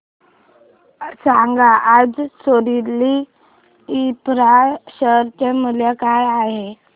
सांगा आज सोरिल इंफ्रा शेअर चे मूल्य काय आहे